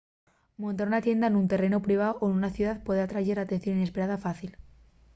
montar una tienda nun terrenu priváu o nuna ciudá puede atrayer atención inesperada fácil